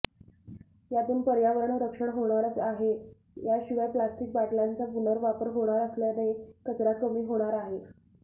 यातून पर्यावरण रक्षण होणार आहेच शिवाय प्लॅस्टीक बाटल्यांचा पुनर्वापर होणार असल्याने कचरा कमी होणार आहे